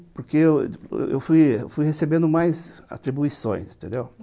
Porque eu fui eu fui recebendo mais atribuições, entendeu?